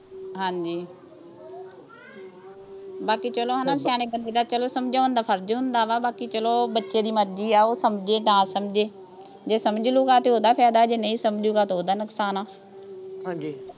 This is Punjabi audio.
ਹਾਂਜੀ ਬਾਕੀ ਚੱਲੋ ਹੈ ਨਾ, ਸਿਆਣੇ ਬੰਦੇ ਦਾ ਚੱਲੋ ਸਮਝਾਉਣ ਦਾ ਫਰਜ਼ ਹੁੰਦਾ, ਬਾਕੀ ਚੱਲੋ, ਬੱਚੇ ਦੀ ਮਰਜ਼ੀ ਆ, ਉਹ ਸਮਝੇ ਨਾ ਸਮਝੇ, ਜੇ ਸਮਝ ਲਊਗਾ ਤਾਂ ਉਹਦਾ ਫਾਇਦਾ, ਜੇ ਨਹੀਂ ਸਮਝੂਗਾ ਤਾਂ ਉਹਦਾ ਨੁਕਸਾਨ ਆ, ਹਾਂਜੀ